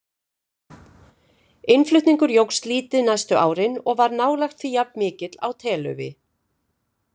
Innflutningur jókst lítið næstu árin og var nálægt því jafnmikill á telaufi.